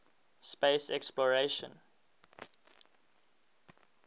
space exploration